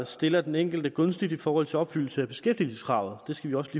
stiller den enkelte gunstigt i forhold til opfyldelse af beskæftigelseskravet det skal vi også